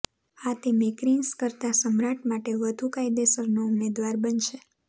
આ તે મેકરિનસ કરતાં સમ્રાટ માટે વધુ કાયદેસરનો ઉમેદવાર બનશે